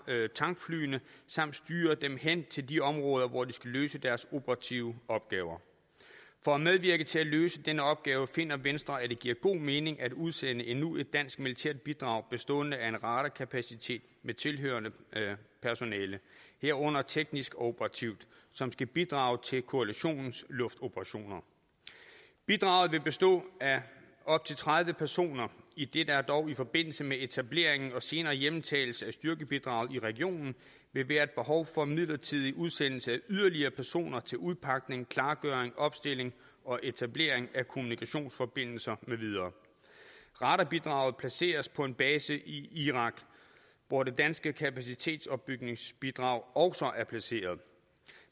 tankflyene samt styre dem hen til de områder hvor de skal løse deres operative opgaver for at medvirke til at løse denne opgave finder venstre at det giver god mening at udsende endnu et dansk militært bidrag bestående af en radarkapacitet med tilhørende personel herunder teknisk og operativt som skal bidrage til koalitionens luftoperationer bidraget vil bestå af op til tredive personer idet der dog i forbindelse med etableringen og senere hjemtagelse af styrkebidraget i regionen vil være et behov for midlertidig udsendelse af yderligere personer til udpakning klargøring opstilling og etablering af kommunikationsforbindelser med videre radarbidraget placeres på en base i irak hvor det danske kapacitetsopbygningsbidrag også er placeret